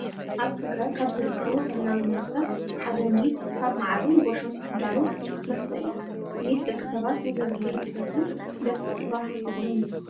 ኣብ ትግራይ ካብ ዝርከቡ ባህላዊ መስተ ሓደ ሜስ ካብ ማዓርን ጎሾን ዝዳሎ መስተ እዩ ። ሜስ ደቂ ሰባት ብብርሌ እንትሰይቱ ደስ ባህ ዝብሎም እዩ።